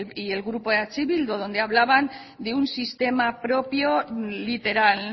y el grupo eh bildu donde hablaban de un sistema propio literal